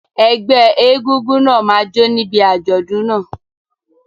Ẹgbẹ́ egúngún náà máa jó níbi àjọ̀dún náà.